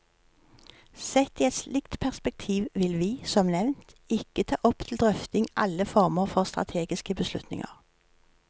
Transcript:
Sett i et slikt perspektiv vil vi, som nevnt, ikke ta opp til drøfting alle former for strategiske beslutninger.